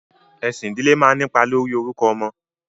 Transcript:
Ẹ̀sìn ìdílé máa ń nípa lórí orúkọ ọmọ.